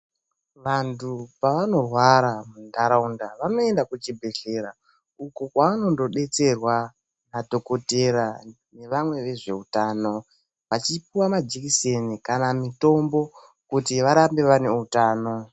Vantu pavanorwara muntaraunda vanoenda kuzvibhledhlera uko kwaanondodetserwa nadhokotera nevamwe vezveutano vachipiwa majekiseni kana mitombo kuti varambe vane utano.